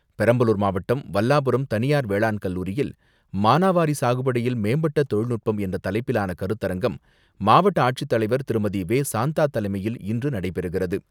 பெரம்பலூர் மாவட்டம் வல்லாபுரம் தனியார் வேளாண்கல்லூரியில் மானாவாரி சாகுபடியில் மேம்பட்ட தொழில்நுட்பம் என்ற தலைப்பிலான கருத்தரங்கம், மாவட்ட ஆட்சித்தலைவர் திருமதி.வே.சாந்தா தலைமையில் இன்று நடைபெறுகிறது.